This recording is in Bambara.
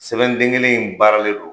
Sɛbɛn den kelen in baaralen don